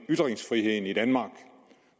ytringsfriheden i danmark